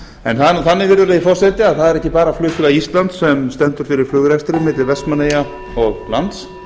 en það er nú þannig virðulegi forseti að það er ekki bara flugfélag íslands sem stendur fyrir flugrekstri milli vestmannaeyja og lands